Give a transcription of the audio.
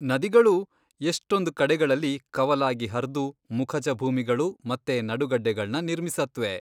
ನದಿಗಳೂ ಎಷ್ಟೊಂದ್ ಕಡೆಗಳಲ್ಲಿ ಕವಲಾಗಿ ಹರ್ದು ಮುಖಜ ಭೂಮಿಗಳು ಮತ್ತೆ ನಡುಗಡ್ಡೆಗಳ್ನ ನಿರ್ಮಿಸತ್ವೆ.